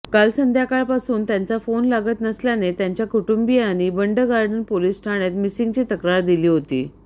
काल संध्याकाळपासून त्यांचा फोन लागत नसल्याने त्यांच्या कुटुंबीयांनी बंडगार्डन पोलीस ठाण्यात मिसींगची तक्रार दिली होती